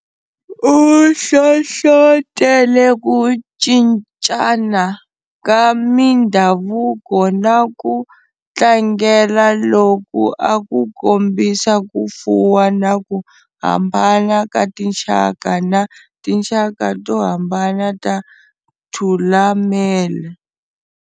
U hlohlotele ku cincana ka mindhavuko na ku tlangela loku a ku kombisa ku fuwa na ku hambana ka tinxaka na tinxaka to hambana ta Thulamela.